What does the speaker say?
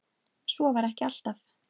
Svo var ekki alltaf.